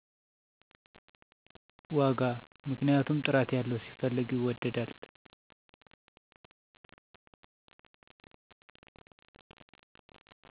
ዋጋ ምክንያቱም ጥራት ያለው ሲፈለግ ይወደዳል